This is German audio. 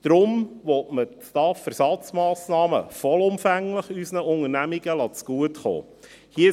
Deshalb will man die STAF-Ersatzmassnahmen vollumfänglich unseren Unternehmungen zugutekommen lassen.